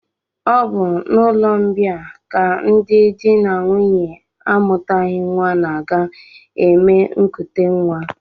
Ọ bụ n'ụlọmbịa ka ndị di na nwunye amụtaghị nnwa na-aga eme nkutenwa